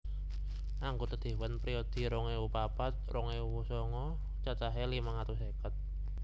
Anggota dewan periode rong ewu papat rong ewu songo cacahé limang atus seket